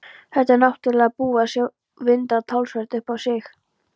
Þetta er náttúrlega búið að vinda talsvert upp á sig.